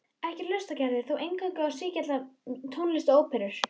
Ekki hlustar Gerður þó eingöngu á sígilda tónlist og óperur.